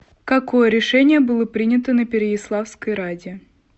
какое решение было принято на переяславской раде